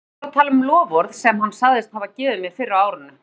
Hann fór að tala um loforð sem hann sagðist hafa gefið mér fyrr á árinu.